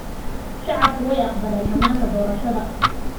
Shacabku way aqbaleen hannaanka doorashada.